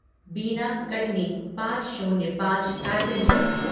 बिना कटनी पाँच शून्य पाँच पैसेंजर